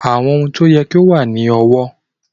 In-laws must be respected